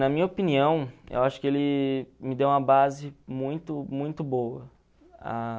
Na minha opinião, eu acho que ele me deu uma base muito muito boa.